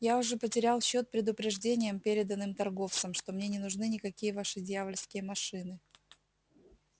я уже потерял счёт предупреждениям переданным торговцам что мне не нужны никакие ваши дьявольские машины